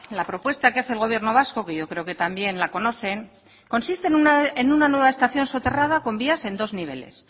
la propuesta que hace el gobierno vasco que yo creo que también la conocen consiste en una nueva estación soterrada con vías en dos niveles